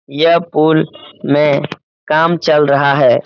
यह पुल में काम चल रहा है।